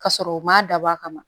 Ka sɔrɔ u ma dabɔ a kama